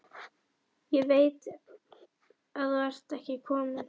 Ég veit þú ert ekki kominn.